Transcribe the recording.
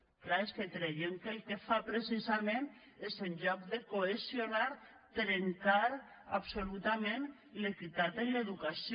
és clar és que creiem que el que fa precisament és en lloc de cohesionar trencar absolutament l’equitat en l’educació